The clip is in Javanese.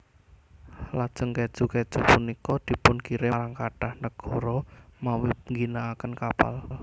Lajeng kèju kèju punika dipunkirim marang kathah nagara mawi ngginakaken kapal